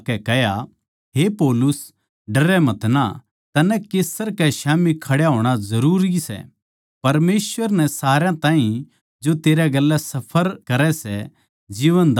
हे पौलुस डरै मतना तन्नै कैसर कै स्याम्ही खड्या होणा जरूरी सै परमेसवर नै सारया ताहीं जो तेरै गेल्या सफर करै सै जीवन दान दिया सै